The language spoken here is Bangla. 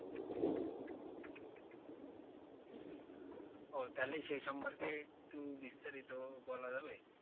ওহ তাহলে সেই সম্পর্কে একটু বিস্তারিত বলা যাবে?